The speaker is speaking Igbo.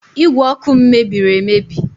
Ígwè ọkụ m mebiri emebi